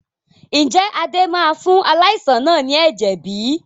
Ǹjẹ́ Adé máa fún aláìsàn náà ni ẹ̀jẹ̀ bí?